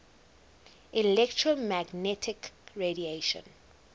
electromagnetic radiation